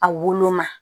A woloma